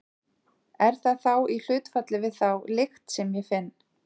Er það þá í hlutfalli við þá lykt sem ég finn?